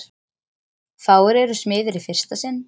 Fáir eru smiðir í fyrsta sinn.